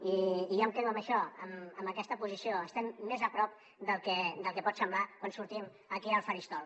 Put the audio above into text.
i jo em quedo amb això amb aquesta posició estem més a prop del que pot semblar quan sortim aquí al faristol